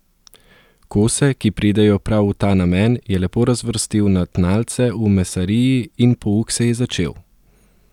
Kose, ki pridejo prav v ta namen, je lepo razvrstil na tnalce v mesariji in pouk se je začel.